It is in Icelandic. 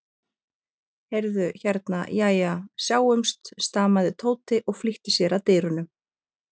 Heyrðu. hérna. jæja, sjáumst stamaði Tóti og flýtti sér að dyrunum.